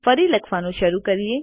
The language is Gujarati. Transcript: ફરી લખવાનું શરૂ કરીએ